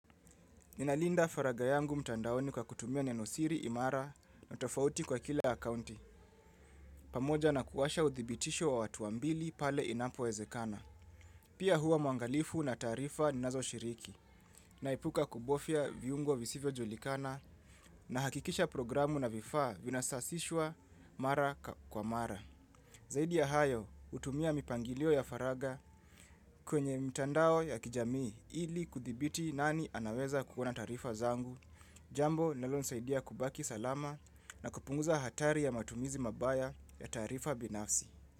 Ninalinda faragha yangu mtandaoni kwa kutumia nenosiri imara na tofauti kwa kila akaunti, pamoja na kuwasha uthibitisho wa watuambili pale inapowezekana. Pia huwa mwangalifu na taarifa ninazo shiriki, naipuka kubofya viungo visivyo julikana na hakikisha programu na vifa vinasasishwa mara kwa mara. Zaidi ya hayo hutumia mipangilio ya faragha kwenye mtandao ya kijamii ili kuthibiti nani anaweza kukiona taarifa zangu, jambo linalonisaidia kubaki salama na kupunguza hatari ya matumizi mabaya ya taarifa binafsi.